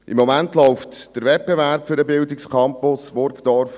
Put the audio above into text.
Im Moment läuft der Wettbewerb für den Bildungscampus Burgdorf.